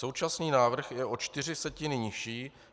Současný návrh je o čtyři setiny nižší.